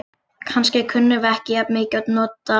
Kannski kunnum við ekki jafn mikið að nota hann.